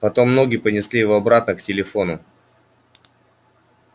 потом ноги понесли его обратно к телефону